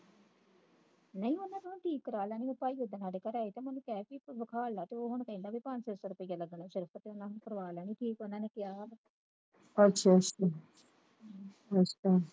ਨਹੀਂ ਉਹਨਾਂ ਤੂੰ ਠੀਕ ਕਰਵਾਲਾ ਲੈਣ ਗਏ ਭਾਈ ਸਾਡੇ ਘਰੇ ਆਏ ਤੇ ਮੈਂ ਉਹਨਾਂ ਕਹਿ ਕੇ ਵੇਖਾਲਿਆ ਤੇ ਹੁਣ ਉਹ ਕਹਿੰਦਾ ਕੇ ਪੰਜ ਛੇ ਸੌ ਰੁਪਇਆ ਲੱਗਣਾ ਸ਼ਰਕ ਤੇ ਕਰਵਾ ਲੈਣੀ ਠੀਕ ਉਹਨਾਂ ਨੇ ਕਿਹਾ ਵਾ ਹਮ